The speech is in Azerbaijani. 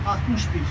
61.